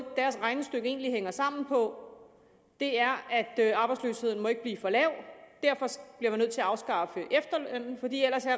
deres regnestykke egentlig hænger sammen på er ved at arbejdsløsheden ikke må blive for lav og nødt til at afskaffe efterlønnen for ellers er